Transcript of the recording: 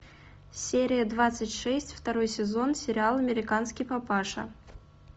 серия двадцать шесть второй сезон сериал американский папаша